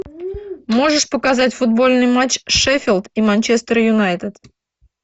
можешь показать футбольный матч шеффилд и манчестер юнайтед